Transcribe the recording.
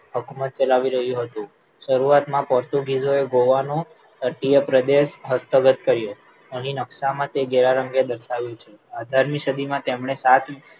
હુકુમત ચલાવી રહ્યું હતું શરૂઆત માં પોર્ટુગીસ ઓ એ ગોઆ નો અધીયે પ્રદેશ હસ્તગત કર્યો અહીં નકશા માં તે ઘેરા રંગે દર્શાવ્યું છે અઢારની સદીમાં તેમણે સાત